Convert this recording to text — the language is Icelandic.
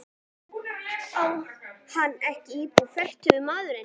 Og á hann ekki íbúð, fertugur maðurinn?